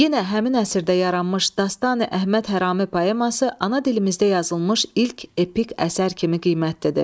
Yenə həmin əsrdə yaranmış Dastan Əhməd Hərami poeması ana dilimizdə yazılmış ilk epik əsər kimi qiymətlidir.